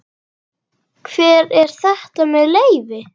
Hver er þetta með leyfi?